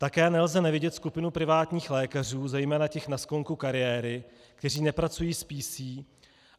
Také nelze nevidět skupinu privátních lékařů, zejména těch na sklonku kariéry, kteří nepracují s PC.